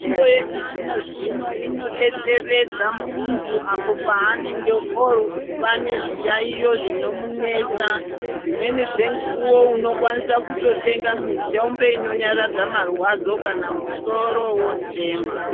Mitombo yechizvinozvino inodetseredza munhu apo panenge ova nezviyayiyo zvinomunesa dzimweni dzemukuwo unokwanisa kutotenga mitombo inonyaradza marwadzo kana musoro wotema.